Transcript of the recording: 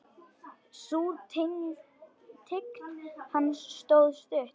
Sú tign hans stóð stutt.